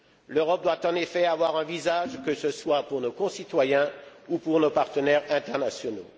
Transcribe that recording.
L'Europe doit en effet avoir un visage, que ce soit pour nos concitoyens ou pour nos partenaires internationaux.